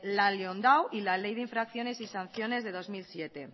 la liondau y la ley de infracciones y sanciones de dos mil siete